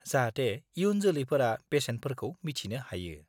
जाहाथे इयुन जौलैफोरा बेसेनफोरखौ मिथिनो हायो।